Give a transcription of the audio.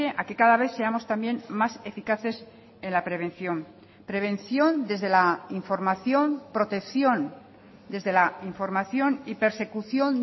a que cada vez seamos también más eficaces en la prevención prevención desde la información protección desde la información y persecución